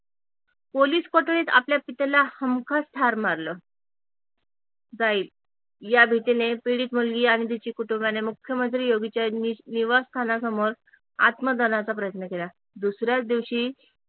police कोठडीत आपल्या पितेला हमखास ठार मारल जाईल या भितीने पीडित मुलगी आणि तिच्या कुटुंबियाने मुख्यमंत्री योगी निवासस्थानासमोर आत्मदहनचा प्रयत्न केला दुसऱ्याच दिवशी